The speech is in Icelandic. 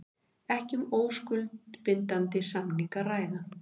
Ekki um óskuldbindandi samning að ræða